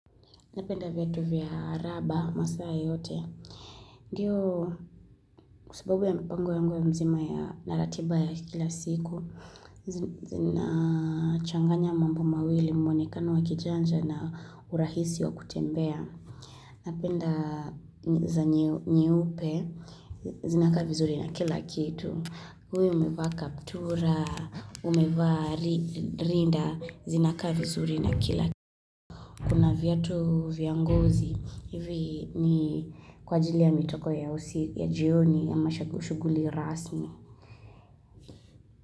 Napenda vieao vya raba masaa yote. Ndio, kwasubabu ya mpango yangu ya mzima ya na ratiba ya kila siku, zinachanganya mambo mawili mwonekano wakijanja na urahisi wa kutembea. Napenda za nyeupe, zinakaa vizuri na kila kitu. Uwe umevaa kaptura, umevaa rinda, zinakaa vizuri na kila kitu. Kuna viatu vya ngozi, hivi ni kwa ajili ya mitoko ya jioni ya mashagushughuli rasmi.